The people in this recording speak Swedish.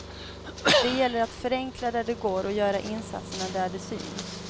Det gäller att förenkla där det går och göra insatserna där de syns.